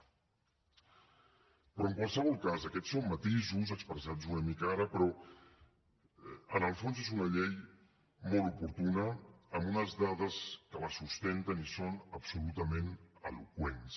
però en qualsevol cas aquests són matisos expressats una mica ara però en el fons és una llei molt oportuna amb unes dades que la sustenten i són absolutament eloqüents